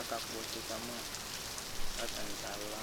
akakpɔ ɔtsɛ kama kʋ atani kala